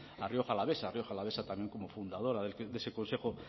a rioja alavesa a rioja alavesa también como fundadora de ese consejo